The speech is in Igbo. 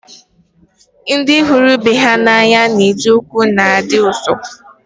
Ndị hụrụ ibe ha n'anya na-eji okwu na-adi ụsọ